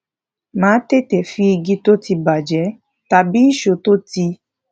máa tètè fi igi tó ti bà jé tàbí ìṣó tó ti